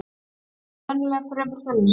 Þeir eru venjulega fremur þunnir